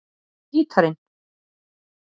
Hvar er gítarinn?